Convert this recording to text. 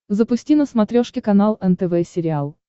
запусти на смотрешке канал нтв сериал